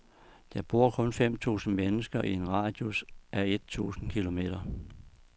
Der bor kun fem tusind mennesker i en radius af et tusind kilometer.